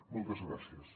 moltes gràcies